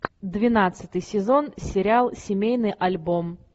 двенадцатый сезон сериал семейный альбом